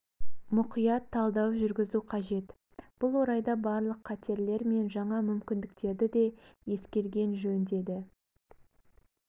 мұқият талдау жүргізу қажет бұл орайда барлық қатерлер мен жаңа мүмкіндіктерді де ескерген жөн деді